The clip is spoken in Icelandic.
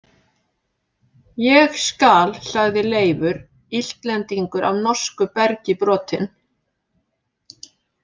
Ég skal, sagði Leifur, Íslendingur af norsku bergi brotinn.